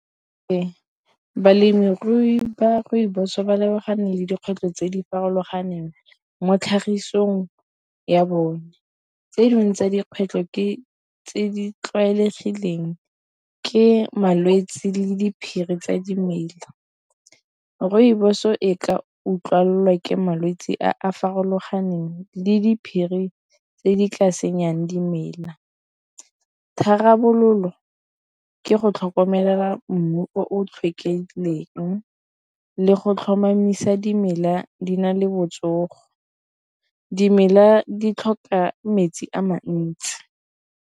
Ee, balemirui ba rooibos ba lebagane le dikgwetlho tse di farologaneng mo tlhagisong ya bone. Tse dingwe tsa dikgwetlho ke tse di tlwaelegileng ke malwetsi le diphiri tsa dimela. Rooibos-o e ka utlwala ke malwetsi a a farologaneng le diphiri tse di ka senyang dimela. Tharabololo ke go tlhokomela mmu o tlhoka rileng le go tlhomamisa dimela di na le botsogo dimela di tlhoka metsi a mantsi.